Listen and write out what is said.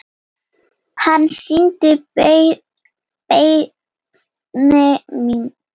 Hann synjaði beiðni minni.